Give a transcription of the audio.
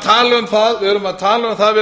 tala um það